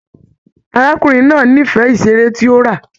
Arákùnrin náà n'ifẹ iṣere tí o rà.